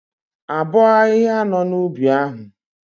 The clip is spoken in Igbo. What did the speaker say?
Abọọ ahịhịa nọ n'ubi ahu?